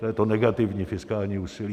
To je to negativní fiskální úsilí.